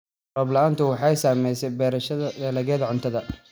Roob la'aantu waxay saamaysaa beerashada dalagyada cuntada.